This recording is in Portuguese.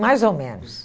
Mais ou menos.